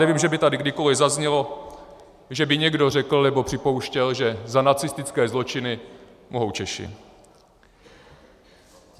Nevím, že by tady kdykoliv zaznělo, že by někdo řekl nebo připouštěl, že za nacistické zločiny mohou Češi.